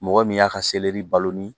Mɔgɔ min y'a ka baloni